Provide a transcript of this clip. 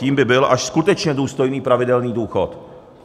Tím by byl až skutečně důstojný pravidelný důchod.